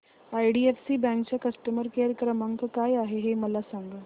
IDFC bank चा customer care क्रमांक काय आहे हे मला सांगा